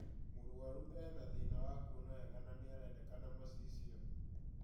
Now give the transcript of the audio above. Mũrwaru ena thĩna wa kuona wega na nĩarendekana macicio